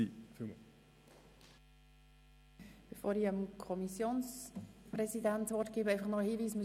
Bevor ich dem Kommissionssprecher das Wort gebe, ein Hinweis: